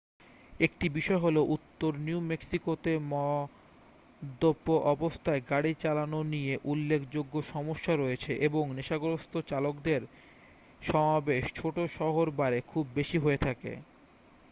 একটি বিষয় হল উত্তর নিউ-মেক্সিকোতে মদ্যপ অবস্থায় গাড়ি চালানো নিয়ে উল্লেখযোগ্য সমস্যা রয়েছে এবং নেশাগ্রস্থ চালকদের সমাবেশ ছোট-শহর বারে খুব বেশি হয়ে থাকে